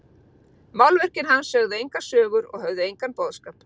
Málverkin hans sögðu engar sögur og höfðu engan boðskap.